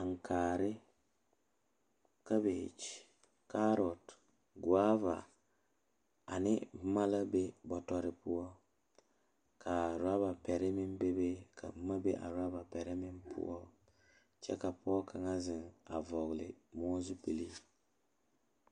Ankaare kabeke toɔ la taa kaa nensaalba are ka bamine su kpare peɛle, ka bamine su kpare ziiri ka bamine su kpare sɔglɔ ka bamine su kpare doɔre ka bamine su kpare lene lene vɔgle moɔ zupele.